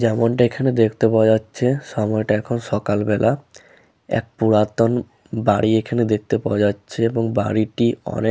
যেমনটা এখানে দেখতে পাওয়া যাচ্ছে ।সময়টা এখন সকালবেলা এক পুরাতন বাড়ি এখানে দেখতে পাওয়া যাচ্ছে এবং বাড়িটি অনেক --